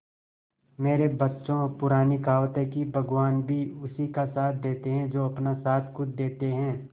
मेरे बच्चों पुरानी कहावत है भगवान भी उसी का साथ देते है जो अपना साथ खुद देते है